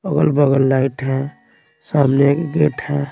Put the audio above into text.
अगल-बगल लाइट है सामने एक गेट है।